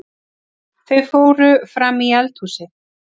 Þau fóru frammí eldhúsið.